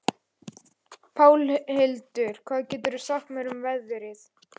Pálhildur, hvað geturðu sagt mér um veðrið?